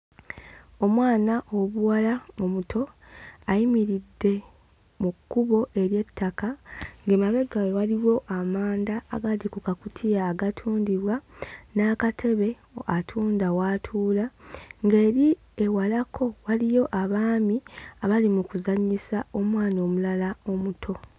Omwana ow'obuwala omuto ayimiridde mu kkubo ery'ettaka ng'emabega we waliwo amanda agali ku kakutiya agatundibwa n'akatebe atunda w'atuula, ng'eri ewalako waliyo abaami abali mu kuzannyisa omwana omulala omuto.